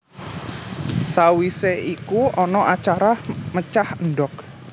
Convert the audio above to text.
Sawise iku ana acara mecah endhok